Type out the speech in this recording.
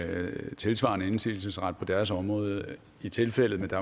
have tilsvarende indsigelsesret på deres område i tilfældet med